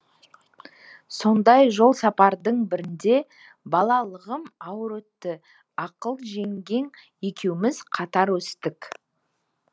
сондай жолсапарлардың бірінде балалығым ауыр өтті ақыл жеңгең екеуіміз қатар өстік